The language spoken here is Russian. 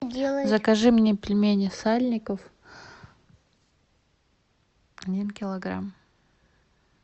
закажи мне пельмени сальников один килограмм